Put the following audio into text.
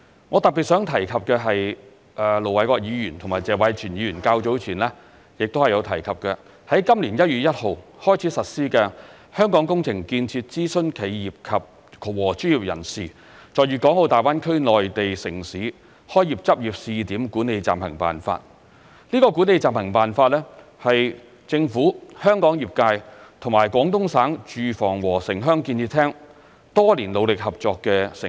我特別想提及的是盧偉國議員和謝偉銓議員較早前亦有提及的，在今年1月1日開始實施的《香港工程建設諮詢企業和專業人士在粵港澳大灣區內地城市開業執業試點管理暫行辦法》，這《管理暫行辦法》是政府、香港業界與廣東省住房和城鄉建設廳多年努力合作的成果。